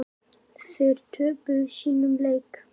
Þær töpuðu sínum leik.